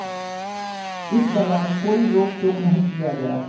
इस दौरान कोई रोक टोक नहीं किया गया